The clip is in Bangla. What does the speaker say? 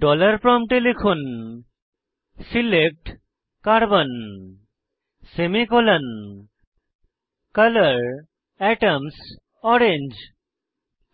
ডলার প্রম্পটে লিখুন select carbon semicolon colour atoms orange